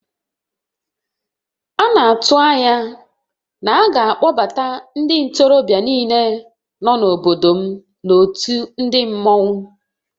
A na-atụ anya na a ga-akpọbata ndị ntorobịa niile nọ n'obodo m n'òtù ndị mmọnwu